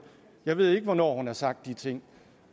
jeg ved ikke hvornår hun har sagt de ting